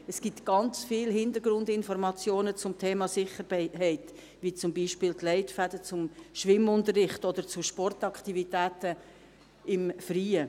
Es gibt sehr viele Hintergrundinformationen zum Thema Sicherheit, zum Beispiel die Leitfäden zum Schwimmunterricht oder zu Sportaktivitäten im Freien.